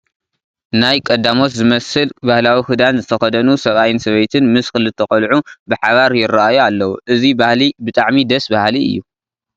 ናይ ቀዳሞት ዝመስል ባህላዊ ክዳን ዝተኸደኑ ሰብኣይን ሰበይቲ ምስ ክልተ ቆልዑ ብሓባር ይርአዩ ኣለዉ፡፡ እዚ ባህሊ ብጣዕሚ ደስ በሃሊ እዩ፡፡